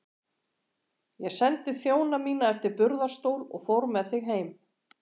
Ég sendi þjóna mína eftir burðarstól og fór með þig heim.